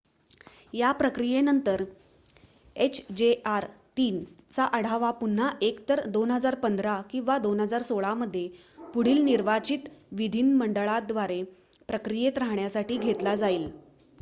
या प्रक्रियेनंतर hjr-3 चा आढावा पुन्हा एकतर 2015 किंवा 2016 मध्ये पुढील निर्वाचित विधीमंडळाद्वारे प्रक्रियेत राहण्यासाठी घेतला जाईल